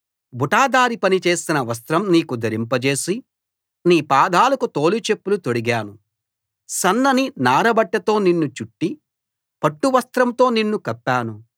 బుటాదారీ పని చేసిన వస్త్రం నీకు ధరింపజేసి నీ పాదాలకు తోలు చెప్పులు తొడిగాను సన్నని నారబట్టతో నిన్ను చుట్టి పట్టు వస్త్రంతో నిన్ను కప్పాను